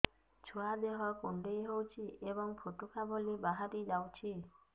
ଛୁଆ ଦେହ କୁଣ୍ଡେଇ ହଉଛି ଏବଂ ଫୁଟୁକା ଭଳି ବାହାରିଯାଉଛି